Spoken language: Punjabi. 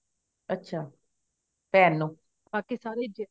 ਅੱਛਾ ਭੇਣ ਨੂੰ ਬਾਕੀ ਸਾਰੇ ਜ਼ੇਬ